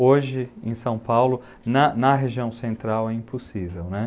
Hoje, em São Paulo, na, na região central é impossível, né?